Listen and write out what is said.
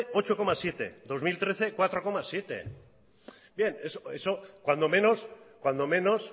zortzi koma zazpi bi mila hamairu lau koma zazpi bien eso cuando menos